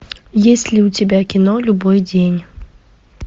есть ли у тебя кино любой день